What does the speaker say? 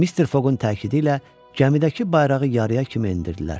Mister Foqun təkidilə gəmidəki bayrağı yarıya kimi endirdilər.